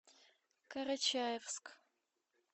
карачаевск